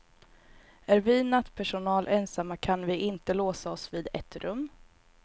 Är vi nattpersonal ensamma kan vi inte låsa oss vid ett rum.